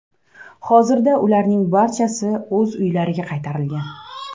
Hozirda ularning barchasi uylariga qaytarilgan.